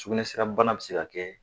Sugunɛsirabana bɛ se ka kɛ